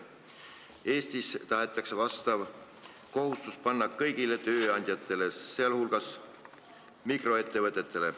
Eestis tahetakse see kohustus panna kõigile tööandjatele, sh mikroettevõtetele.